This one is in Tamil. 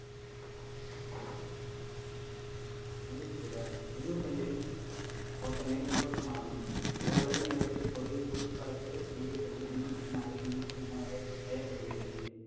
மின்னோட்டங்களின் ஓட்டமே மின்னோட்டமாகும் ஓரளவு நேரத்தில் பொருளின் குறுக்கு பரப்பு வழியே செல்லும் மி ன்னோட்டத்தின் அளவே மின்னோட்டம் என வரையறுக்~ வரையறுக்கப்படுகிறது